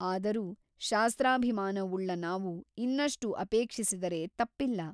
ಆದರೂ ಶಾಸ್ತ್ರಾಭಿಮಾನವುಳ್ಳ ನಾವು ಇನ್ನಷ್ಟು ಅಪೇಕ್ಷಿಸಿದರೆ ತಪ್ಪಿಲ್ಲ.